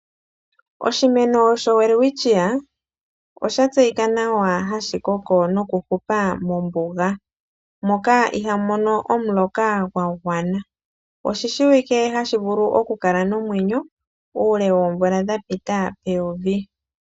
Oshimeno showelwitchia osha tseyika nawa hashi koko nokuhupa mombuga moka ihamu mono omuloka gwa gwana. Oshi shiwike hashi vulu okukala nomwenyo uule woomvula dha pita peyovi.